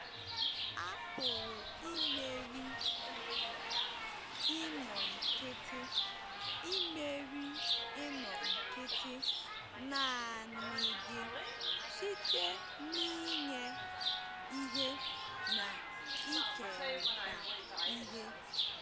A pụrụ imeri inọ nkịtị imeri inọ nkịtị naanị gị site n’inye ihe na ikerịta ihe